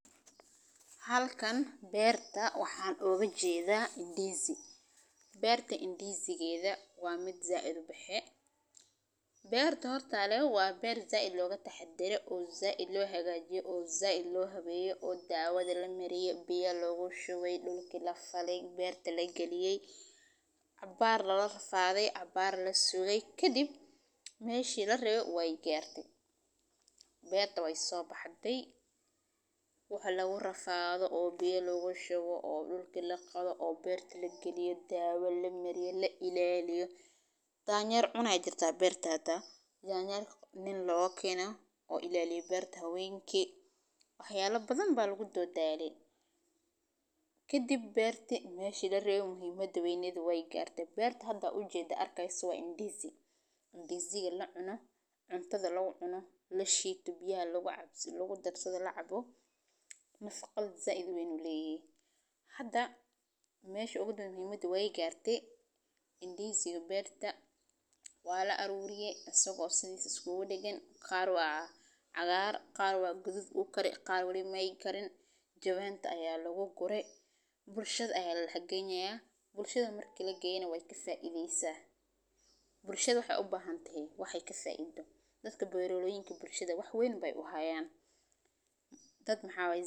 Halkan beerta waxan oga jedha indisi beerta indisigeda waa mid said u baxe beerta horta waa beer said loga taxadar oo said lo hagajiye oo said lo dawadhi lamariye biya lagu shuqey dulki lagaliyey cabar lala rafadhay cabar lasugey kadiib meshi larawe wey garte beerta weyso baxdey waxaa lagu rafadho oo biya lagu shubo oo dulki laqodho oo biya lagu shuwo oo beerti lafalo dawo lamaryo danyer aya jira beerta hawenki waxyala badan aya lagu dawa dale kadiib beerti meshi larawe muhiimada wey garte hada waxan aad ujedo waa indisi nafaqo said ayu leyahay hada mesha udanbe wey garte indisi iyo beerta waa laaruriye qar wey Karen qar mu karin jawanta aya lagu gure bulshaada aya ladax geynaya bulshaada marki ladax geyana waxee kascido dadka bulshaadana wax weyn ayey u hayan dad maxaa waye.